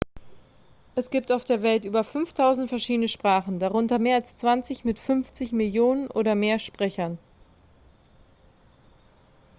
es gibt auf der welt über 5.000 verschiedene sprachen darunter mehr als zwanzig mit 50 millionen oder mehr sprechern